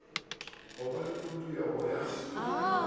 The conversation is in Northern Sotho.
go ba le khuduela ya